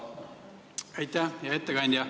Hea ettekandja!